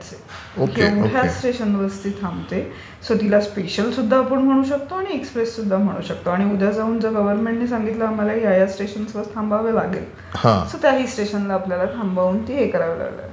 ह्याच स्पेशल स्टेशन्सना ती थांबते सो तिला स्पेशल सुद्धा म्हणू शकतो आणि एक्सप्रेस सुद्धा म्हणू शकतो आणि उद्या जाऊन गव्हर्नमेंट जर सांगितलं की आम्हाला या या स्टेशन्सवर थांबावे लागेल, सो त्याही स्टेशन्सना थांबवून ती हे करावी लागेल.